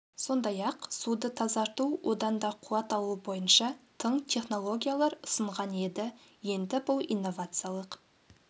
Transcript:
сондай-ақ суды тазарту одан да қуат алу бойынша тың технологиялар ұсынған еді енді бұл инновациялық